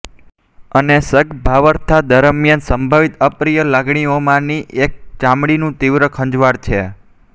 અને સગર્ભાવસ્થા દરમિયાન સંભવિત અપ્રિય લાગણીઓમાંની એક ચામડીનું તીવ્ર ખંજવાળ છે